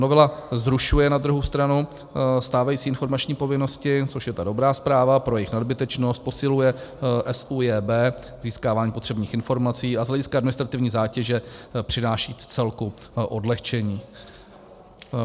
Novela zrušuje na druhou stranu stávající informační povinnosti, což je ta dobrá zpráva, pro jejich nadbytečnost, posiluje SÚJB, získávání potřebných informací a z hlediska administrativní zátěže přináší vcelku odlehčení.